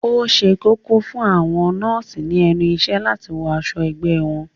Ó ṣe kókó fún àwọn nọ́ọ̀sì ní ẹnu ìṣẹ́ láti wọ aṣọ ẹgbẹ́ wọn